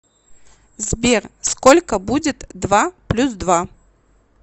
сбер сколько будет два плюс два